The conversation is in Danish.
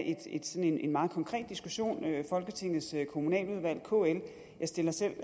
en en meget konkret diskussion i folketingets kommunaludvalg og kl jeg stiller selv